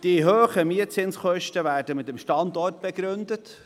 Die hohen Mietkosten werden mit dem Standort begründet.